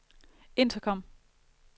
intercom